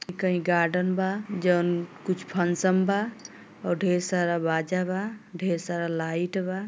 कई गार्डन बा जउन कुछ फंसम बा और ढेर सारा बाजा बा ढेर सारा लाइट बा।